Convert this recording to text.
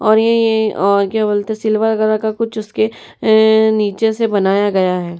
और ये ये और क्या बोलते हैं सिल्वर कलर का कुछ उसके अअ नीचे से बनाया गया है।